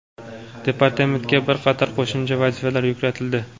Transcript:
Departamentga bir qator qo‘shimcha vazifalar yuklatildi.